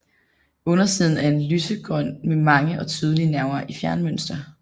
Undersiden er lysegrøn med mange og tydelige nerver i fjermønster